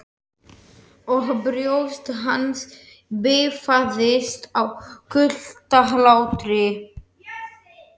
Og brjóst hans bifaðist af kuldahlátri.